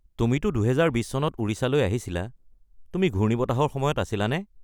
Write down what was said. তুমিটো ২০২০ চনত ওড়িশালৈ আহিছিলা, তুমি ঘূৰ্ণিবতাহৰ সময়ত আছিলানে?